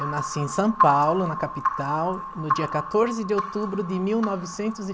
Eu nasci em São Paulo, na capital, no dia quatorze de outubro de mil novecentos e